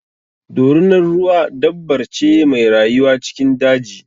Dorunar ruwa dabbar ce mai rayuwa cikin daji.